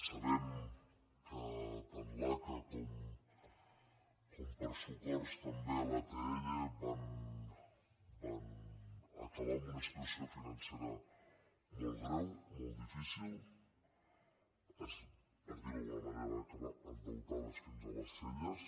sabem que tant l’aca com per socors també l’atll van acabar amb una situació financera molt greu molt difícil per dirho d’alguna manera van acabar endeutades fins a les celles